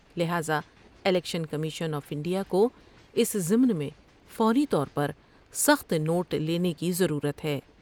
لہذا election commission of India کو اس ضمن میں فوری طور پر سخت نوٹ لینے کی ضرورت ہے ۔